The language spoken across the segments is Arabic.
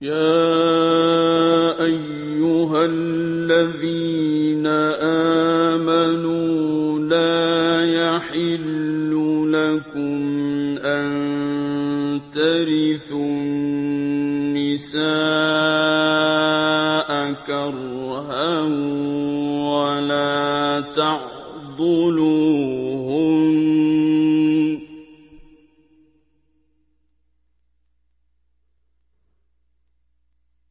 يَا أَيُّهَا الَّذِينَ آمَنُوا لَا يَحِلُّ لَكُمْ أَن تَرِثُوا النِّسَاءَ كَرْهًا ۖ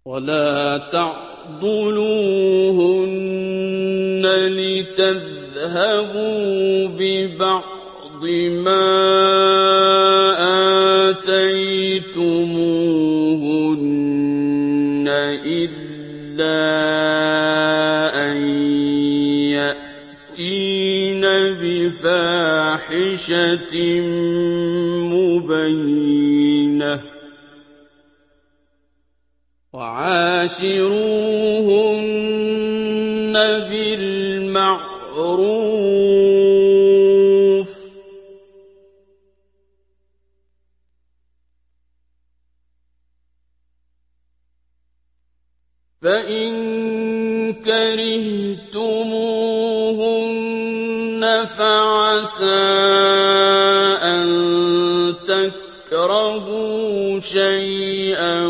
وَلَا تَعْضُلُوهُنَّ لِتَذْهَبُوا بِبَعْضِ مَا آتَيْتُمُوهُنَّ إِلَّا أَن يَأْتِينَ بِفَاحِشَةٍ مُّبَيِّنَةٍ ۚ وَعَاشِرُوهُنَّ بِالْمَعْرُوفِ ۚ فَإِن كَرِهْتُمُوهُنَّ فَعَسَىٰ أَن تَكْرَهُوا شَيْئًا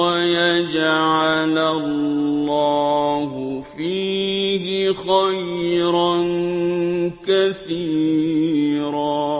وَيَجْعَلَ اللَّهُ فِيهِ خَيْرًا كَثِيرًا